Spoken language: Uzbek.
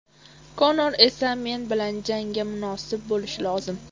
Konor esa men bilan jangga munosib bo‘lishi lozim.